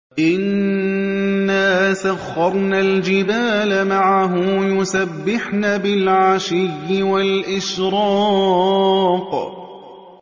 إِنَّا سَخَّرْنَا الْجِبَالَ مَعَهُ يُسَبِّحْنَ بِالْعَشِيِّ وَالْإِشْرَاقِ